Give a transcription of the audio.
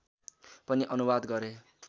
पनि अनुवाद गरे